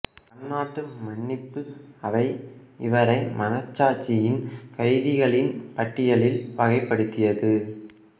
பன்னாட்டு மன்னிப்பு அவை இவரை மனச்சாட்சியின் கைதிகளின் பட்டியலில் வகைப்படுத்தியது